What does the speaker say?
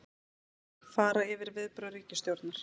Fara yfir viðbrögð ríkisstjórnar